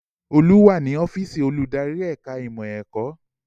Olú wà ní ọ́fíìsì olùdarí ẹ̀ka ìmọ̀ ẹ̀kọ́